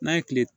N'a ye kile